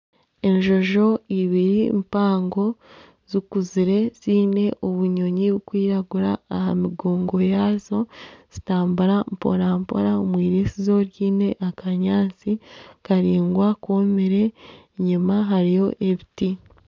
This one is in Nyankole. Enjojo ibiri mpango zikuzire ziine obunyonyi burikwiragura aha migongo yaazo nizitambura mporampora omwiriisizo ryine akanyaatsi karaingwa koomire enyuma hariyo ebiti.